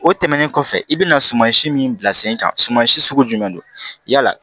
O tɛmɛnen kɔfɛ i bɛna suman si min bila sen kan suman si sugu jumɛn don yala